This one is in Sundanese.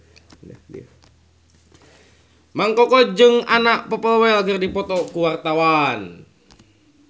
Mang Koko jeung Anna Popplewell keur dipoto ku wartawan